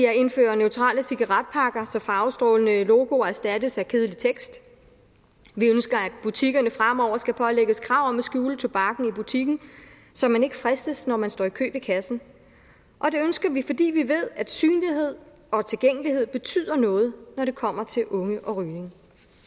at indføre neutrale cigaretpakker så farvestrålende logoer erstattes af kedelig tekst vi ønsker at butikkerne fremover skal pålægges krav om at skjule tobakken i butikken så man ikke fristes når man står i kø ved kassen og det ønsker vi fordi vi ved at synlighed og tilgængelighed betyder noget når det kommer til unge og rygning